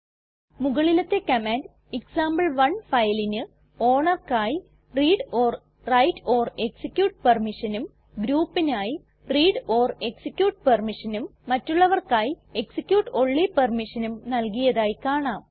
മുകളിലത്തെ കമാൻഡ് എക്സാംപിൾ1 ഫയലിന് ownerക്കായി readwriteഎക്സിക്യൂട്ട് permissionഉം groupനായി readഎക്സിക്യൂട്ട് permissionഉം മറ്റുള്ളവർക്കായി execute ഓൺലി permissionഉം നൽകിയതായി കാണാം